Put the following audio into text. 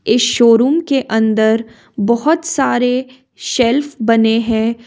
इस शोरूम के अंदर बहुत सारे सेल्फ बने हैं।